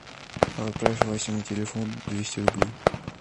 отправь васе на телефон двести рублей